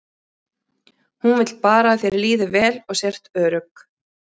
Hún vill bara að þér líði vel og sért örugg.